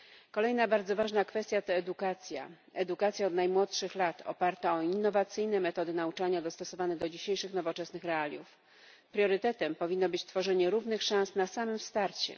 Kolejna bardzo ważna kwestia to edukacja od najmłodszych lat oparta o innowacyjne metody nauczania dostosowane do dzisiejszych nowoczesnych realiów. Priorytetem powinno być stworzenie równych szans na samym starcie.